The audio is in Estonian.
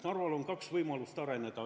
Narval on kaks võimalust areneda.